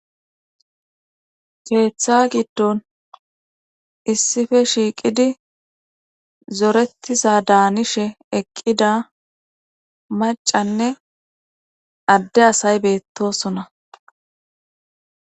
Keeththa giddon issife shiiqidi zorettiza daanishe eqqida macanne adde asay beettosona.